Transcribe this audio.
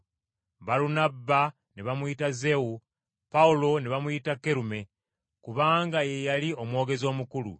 Balunabba ne bamuyita Zewu, Pawulo ne bamuyita Kerume kubanga ye yali omwogezi omukulu.